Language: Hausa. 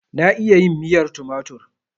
Na iya yin miyar tumatur.